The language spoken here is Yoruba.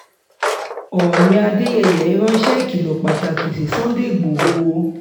oòní adẹ́yẹyẹ ránṣẹ́ ìkìlọ̀ pàtàkì sí sunday igbodò